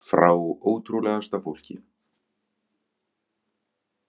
Frá ótrúlegasta fólki.